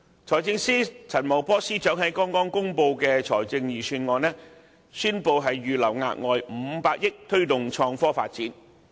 財政司司長陳茂波在剛剛公布的財政預算案中，宣布會預留額外500億元推動創科發展。